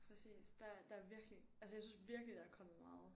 Præcis der der er virkelig altså jeg synes virkelig der er kommet meget